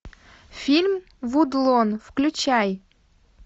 фильм вудлон включай